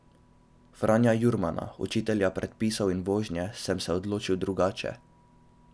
Franja Jurmana, učitelja predpisov in vožnje, sem se odločil drugače.